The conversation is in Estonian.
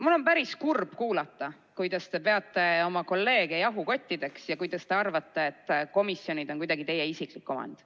Mul on päris kurb kuulata, et te peate oma kolleege jahukottideks ja arvate, et komisjonid on kuidagi teie isiklik omand.